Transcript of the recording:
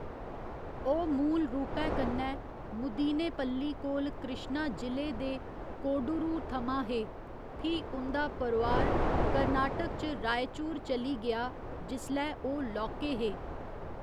ओह् मूल रूपै कन्नै मुदीनेपल्ली कोल कृश्णा जि'ले दे कोडुरु थमां हे, फ्ही उं'दा परोआर कर्नाटक च रायचूर चली गेआ जिसलै ओह् लौह्के हे।